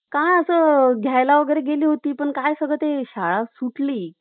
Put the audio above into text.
आणि नामकरण आंदोलन करण्यात आले. नागरी समस्या सुटाव्या यासाठी विविध आंदोलने करूनही या समस्या सुटत नसून याबाबत पालिका प्रशासन